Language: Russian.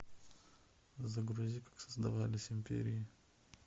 загрузи как создавались империи